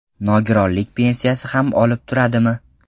Nogironlik pensiyasi ham olib turadimi?